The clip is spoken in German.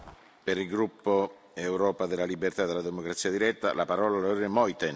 Herr Präsident, Herr Kommissionspräsident Juncker, geschätzter Herr Bundeskanzler Kurz!